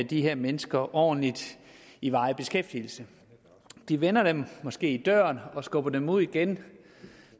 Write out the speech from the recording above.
de her mennesker ordentligt i varig beskæftigelse de vender dem måske i døren og skubber dem ud igen